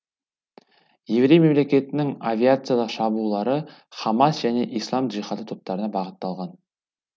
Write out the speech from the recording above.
еврей мемлекетінің авиациялық шабуылдары хамас және ислам джихады топтарына бағытталған